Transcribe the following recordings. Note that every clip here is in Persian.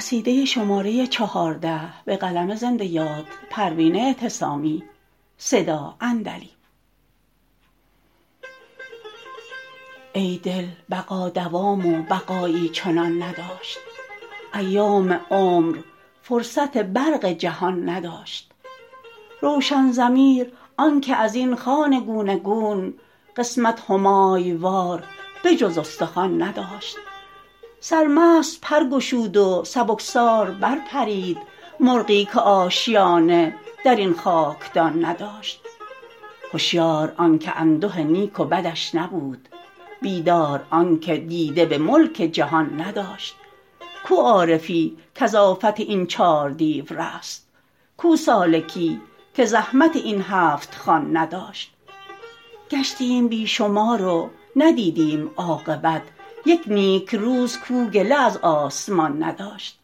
ای دل بقا دوام و بقایی چنان نداشت ایام عمر فرصت برق جهان نداشت روشن ضمیر آنکه ازین خوان گونه گون قسمت همای وار به جز استخوان نداشت سرمست پر گشود و سبکسار برپرید مرغی که آشیانه درین خاکدان نداشت هشیار آنکه انده نیک و بدش نبود بیدار آنکه دیده بملک جهان نداشت کو عارفی کز آفت این چار دیو رست کو سالکی که زحمت این هفتخوان نداشت گشتیم بی شمار و ندیدیم عاقبت یک نیکروز کاو گله از آسمان نداشت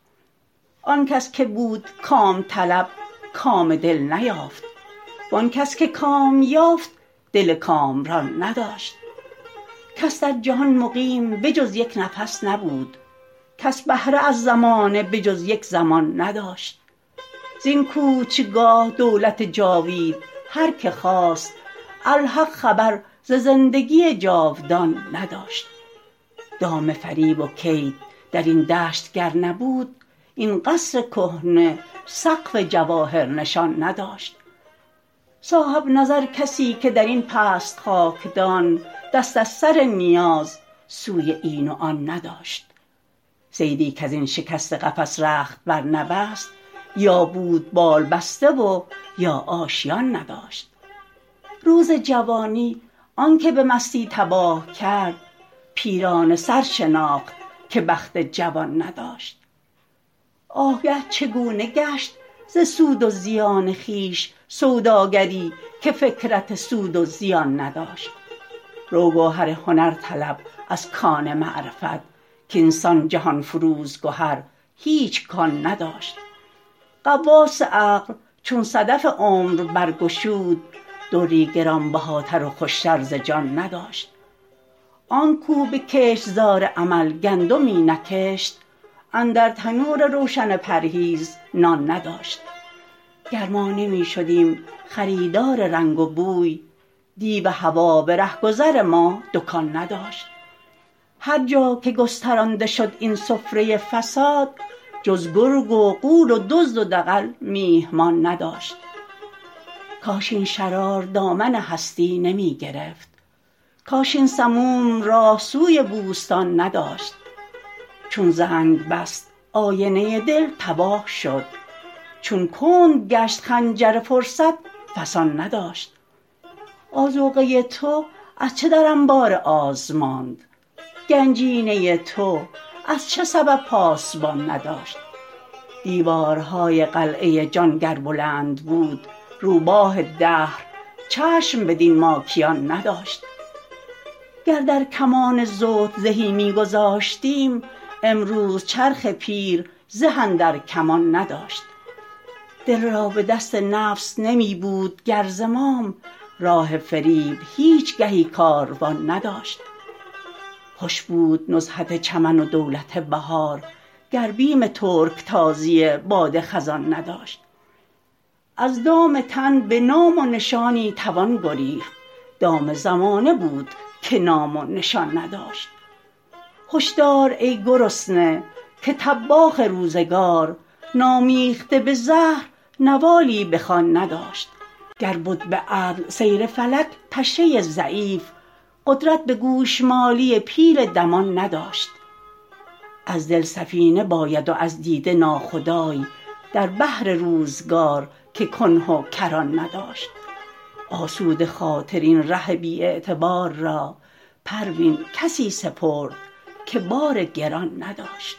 آنکس که بود کام طلب کام دل نیافت وانکس که کام یافت دل کامران نداشت کس در جهان مقیم به جز یک نفس نبود کس بهره از زمانه به جز یک زمان نداشت زین کوچگاه دولت جاوید هر که خواست الحق خبر ز زندگی جاودان نداشت دام فریب و کید درین دشت گر نبود این قصر کهنه سقف جواهر نشان نداشت صاحب نظر کسیکه درین پست خاکدان دست از سر نیاز سوی این و آن نداشت صیدی کزین شکسته قفس رخت برنبست یا بود بال بسته و یا آشیان نداشت روز جوانی آنکه به مستی تباه کرد پیرانه سر شناخت که بخت جوان نداشت آگه چگونه گشت ز سود و زیان خویش سوداگری که فکرت سود و زیان نداشت روگوهر هنر طلب از کان معرفت کاینسان جهانفروز گهر هیچ کان نداشت غواص عقل چون صدف عمر برگشود دری گرانبهاتر و خوشتر ز جان نداشت آنکو به کشتزار عمل گندمی نکشت اندر تنور روشن پرهیز نان نداشت گر ما نمیشدیم خریدار رنگ و بوی دیو هوی برهگذر ما دکان نداشت هر جا که گسترانده شد این سفره فساد جز گرگ و غول و دزد و دغل میهمان نداشت کاش این شرار دامن هستی نمی گرفت کاش این سموم راه سوی بوستان نداشت چون زنگ بست آینه دل تباه شد چون کند گشت خنجر فرصت فسان نداشت آذوقه تو از چه در انبار آز ماند گنجینه تو از چه سبب پاسبان نداشت دیوارهای قلعه جان گر بلند بود روباه دهر چشم بدین ماکیان نداشت گر در کمان زهد زهی میگذاشتیم امروز چرخ پیر زه اندر کمان نداشت دل را بدست نفس نمیبود گر زمام راه فریب هیچ گهی کاروان نداشت خوش بود نزهت چمن و دولت بهار گر بیم ترکتازی باد خزان نداشت از دام تن بنام و نشانی توان گریخت دام زمانه بود که نام و نشان نداشت هشدار ای گرسنه که طباخ روزگار نامیخته به زهر نوالی بخوان نداشت گر بد بعدل سیر فلک پشه ضعیف قدرت بگوشمالی پیل دمان نداشت از دل سفینه باید و از دیده ناخدای در بحر روزگار که کنه و کران نداشت آسوده خاطر این ره بی اعتبار را پروین کسی سپرد که بار گران نداشت